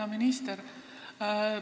Hea minister!